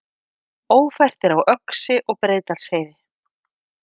Ófært er á Öxi og Breiðdalsheiði